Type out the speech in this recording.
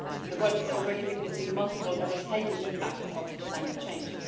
The world is already witnessing multiple devastating impacts of climate change.